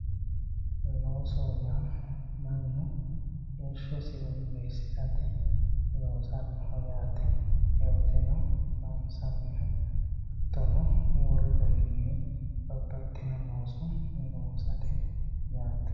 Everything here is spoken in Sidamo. loosoho yaa mannu heeshshosi woyyeessirate loosannoho yaate qolteno loonsannihu hattono wolu garinni babbaxino looso loosate yaate